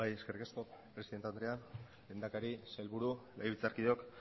eskerrik asko presidente andrea lehendakari sailburu legebiltzarkideok